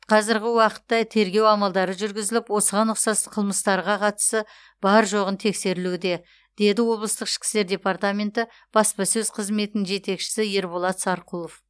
қазіргі уақытта тергеу амалдары жүргізіліп осыған ұқсас қылмыстарға қатысы бар жоғы тексерілуде деді облыстық ішкі істер департаменті баспасөз қызметінің жетекшісі ерболат сарқұлов